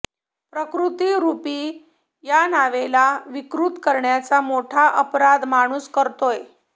प्रकृतीरुपी या नावेला विकृत करण्याचा मोठा अपराध माणूस करतोय